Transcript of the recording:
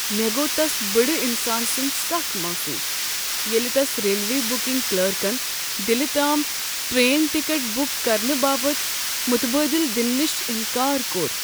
مےٚ گوٚو تس بٕڑٕ انسان سُنٛد سخ محصوص ییٚلہ تس ریلوے بکنگ کلرکن دلہ تام ٹرٛین ٹکٹ بک کرنہٕ باپتھ متبادل دنہٕ نش انکار کوٚر۔